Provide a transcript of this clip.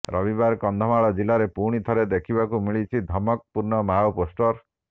ରବିବାର କନ୍ଧମାଳ ଜିଲ୍ଲାରେ ପୁଣି ଥରେ ଦେଖିବାକୁ ମିଳିଛି ଧମକ ପୂର୍ଣ୍ଣ ମାଓ ପୋଷ୍ଟର